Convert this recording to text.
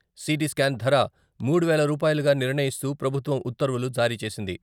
CT scan ధర మూడు వేల రూపాయలుగా నిర్ణయిస్తూ ప్రభుత్వం ఉత్తర్వులు జారీ చేసింది.